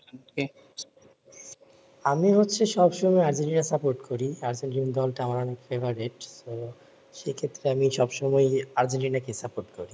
আমি হচ্ছে সব সময় আর্জেন্টিনা support করি আর্জেন্টিনা দল কে আমার অনেক favourite তো সে ক্ষেত্রে আমিই সব সময় আর্জেন্টিনা কে support করি